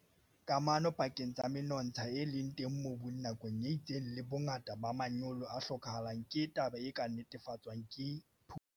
Kamano pakeng tsa menontsha e leng teng mobung nakong e itseng le bongata ba manyolo a hlokahalang ke taba e ka nnetefatswang ke phuputso.